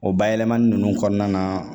O bayɛlɛmani ninnu kɔɔna na